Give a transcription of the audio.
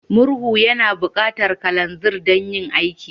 Murhu yana buƙatar kananzir don yin aiki.